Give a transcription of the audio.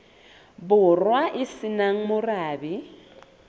borwa e se nang morabe